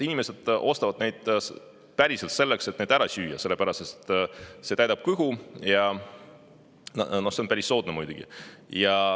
Inimesed ostavad neid selleks, et neid ära süüa, sest need täidavad kõhtu ja no need on päris soodsad muidugi.